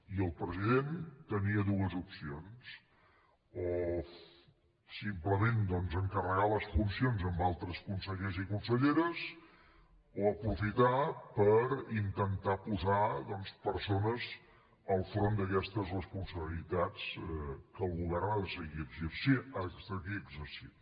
i el president tenia dues opcions o simplement doncs encarregar les funcions a altres consellers i conselleres o aprofitar per intentar posar persones al capdavant d’aquestes responsabilitats que el govern ha de seguir exercint